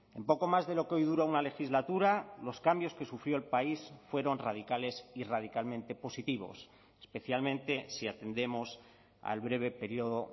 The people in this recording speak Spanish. en poco más de lo que hoy dura una legislatura los cambios que sufrió el país fueron radicales y radicalmente positivos especialmente si atendemos al breve periodo